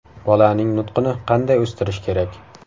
Bolaning nutqini qanday o‘stirish kerak?